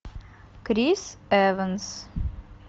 крис эванс